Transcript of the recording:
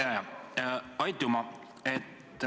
Aitüma!